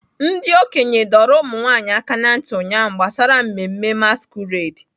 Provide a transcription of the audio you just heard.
Ndị okenye dọrọ ụmụnwaanyị aka na ntị ụnyaahụ gbasara mmemme masquerade.